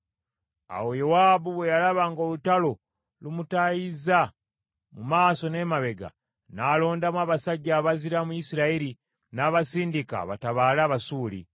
Awo Yowaabu bwe yalaba ng’olutalo lumutaayizza mu maaso n’emabega, n’alondamu abasajja abazira mu Isirayiri, n’abasindika batabaale Abasuuli.